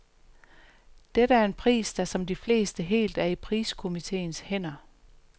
Dette er en pris, der som de fleste helt er i priskomiteens hænder.